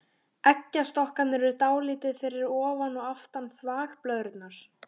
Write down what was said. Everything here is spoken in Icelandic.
Eggjastokkarnir eru dálítið fyrir ofan og aftan þvagblöðruna.